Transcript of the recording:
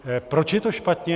Proč je to špatně?